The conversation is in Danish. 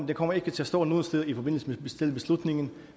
det kommer ikke til at stå nogen steder i forbindelse med selve beslutningen